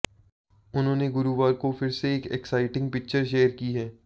उन्होंने गुरुवार को फिर से एक एक्साइटिंग पिक्चर शेयर की है